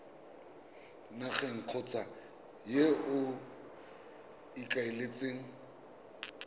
nageng kgotsa yo o ikaeletseng